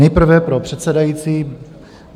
Nejprve pro předsedající.